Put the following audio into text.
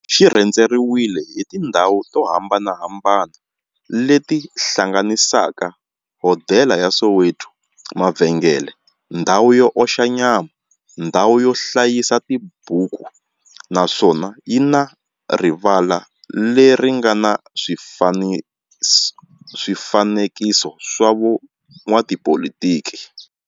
Xi rhendzeriwile hi tindhawu to hambanahambana le ti hlanganisaka, hodela ya Soweto, mavhengele, ndhawu yo oxa nyama, ndhawu yo hlayisa tibuku, naswona yi na rivala le ri nga na swifanekiso swa vo n'watipolitiki.